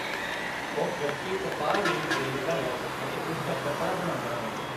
ਉਹ ਕੱਚੀ ਕਪਾਹ ਰੂੰਈ ਖ਼ਰੀਦਦਾ ਹੈ ਅਤੇ ਇਸ ਦਾ ਕੱਪੜਾ ਬਣਾਉਂਦਾ ਹੈ।